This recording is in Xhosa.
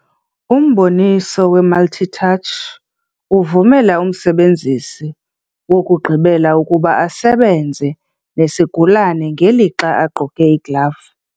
Umboniso we-multi-touch uvumela umsebenzisi wokugqibela ukuba asebenze nesigulane ngelixa egqoke iiglavu.